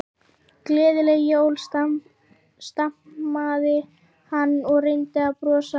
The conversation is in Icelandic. Gleðileg jól stamaði hann og reyndi að brosa.